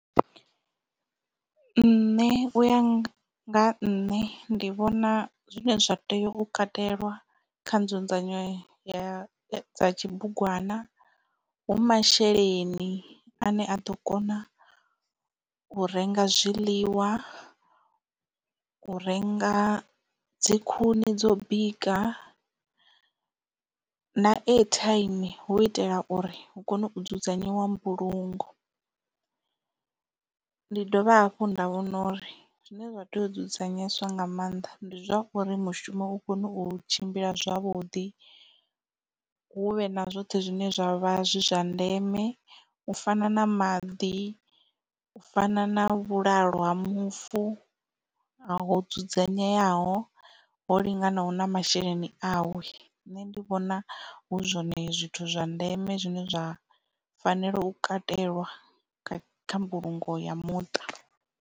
Nṋe uya nga nne ndi vhona zwine zwa tea u katelwa kha nzudzanyo ya dza tshibugwana hu masheleni ane a ḓo kona u renga zwiḽiwa, u renga dzi khuni dzo bika na airtime hu u itela uri hu kone u dzudzanyiwa mbulungo. Ndi dovha hafhu nda vhona uri zwine zwa tea u dzudzanyeswa nga maanḓa ndi zwa uri mushumo u kone u tshimbila zwavhuḓi huvhe na zwoṱhe zwine zwa vha zwi zwa ndeme u fana na maḓi u fana na vhulalo ha mufu ho dzudzanyeaho ho linganaho na masheleni awe nṋe ndi vhona hu zwone zwithu zwa ndeme zwine zwa fanela u katelwa kha mbulungo ya muṱa.